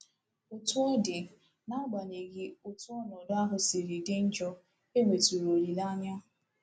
Otú ọ dị, n’agbanyeghị otú ọnọdụ ahụ siri dị njọ, e nwetụrụ olileanya